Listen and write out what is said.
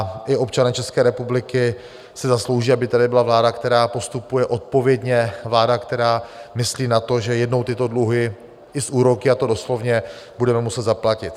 A i občané České republiky si zaslouží, aby tady byla vláda, která postupuje odpovědně, vláda, která myslí na to, že jednou tyto dluhy i s úroky - a to doslovně - budeme muset zaplatit.